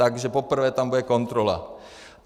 Takže poprvé tam bude kontrola.